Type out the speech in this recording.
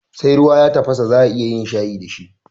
Sai ruwa ya tafasa za'a iya yin shayi dashi